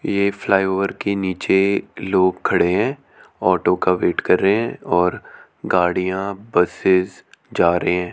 ये फ्लाईओवर के नीचे लोग खड़े हैं ऑटो का वेट कर रहे हैं और गाड़ियां बसेस जा रहे हैं।